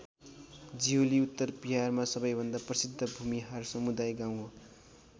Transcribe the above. जिहुलि उत्तर विहारमा सबै भन्दा प्रसिद्द भूमिहार समुदाय गाउँ हो।